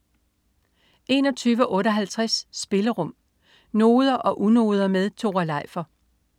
21.58 Spillerum. Noder og unoder med Tore Leifer